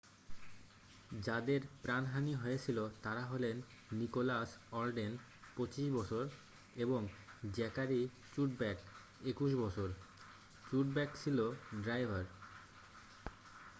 যাদের প্রাণহানি হয়েছিল তারা হলেন নিকোলাস অলডেন 25 বছর এবং জ্যাকারি চুডব্যাক 21 বছর চুডব্যাক ছিল ড্রাইভার